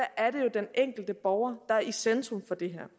den enkelte borger der er i centrum for det her